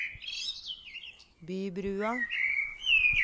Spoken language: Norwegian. Bybrua